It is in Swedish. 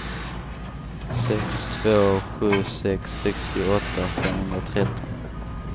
sex två sju sex sextioåtta femhundratretton